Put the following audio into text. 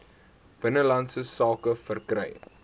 binnelandse sake verkry